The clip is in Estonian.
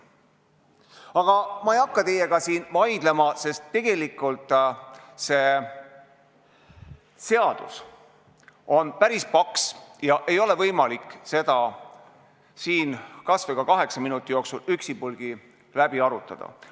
Aga ma ei hakka teiega siin vaidlema, sest tegelikult on see seadus päris paks ja seda ei ole võimalik siin kaheksa minuti jooksul üksipulgi läbi arutada.